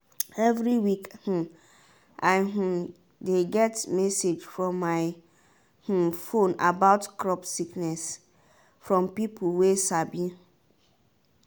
every week um i um dey get message for my um phone about crop sickness from peopleway sabi.